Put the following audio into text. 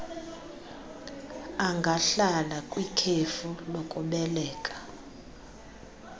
angahlala kwikhefu lokubeleka